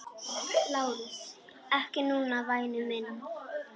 LÁRUS: Ekki núna, væni minn.